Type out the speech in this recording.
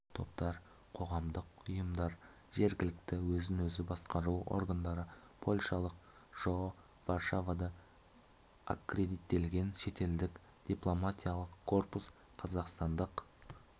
топтар қоғамдық ұйымдар жергілікті өзін-өзі басқару органдары польшалық жоо варшавада аккредиттелген шетелдік дипломатиялық корпус қазақстандық